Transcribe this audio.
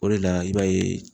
O de la i b'a ye